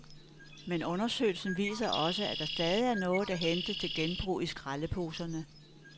Men undersøgelsen viser også, at der stadig er noget at hente til genbrug i skraldeposerne.